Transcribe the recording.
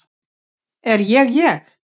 Er ég ég?